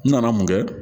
N nana mun kɛ